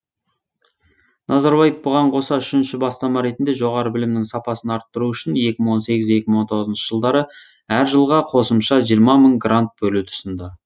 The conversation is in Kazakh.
назарбаев бұған қоса үшінші бастама ретінде жоғары білімнің сапасын арттыру үшін екі мың он сегіз екі мың он тоғыз жылдары әр жылға қосымша жиырма мың грант бөлуді ұсынды